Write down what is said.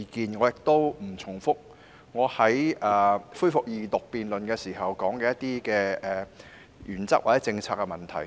我不會重複我在恢復二讀辯論時說過的原則或政策問題。